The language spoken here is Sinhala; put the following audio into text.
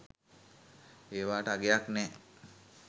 ඒවාට අගයක් නෑ